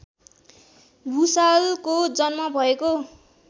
भुसालको जन्म भएको